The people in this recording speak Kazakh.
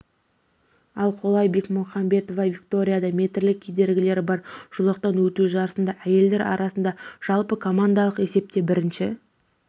ал қола бекмухамбетова викторияда метрлік кедергілері бар жолақтан өту жарысында әйелдер арасында жалпыкомандалық есепте бірінші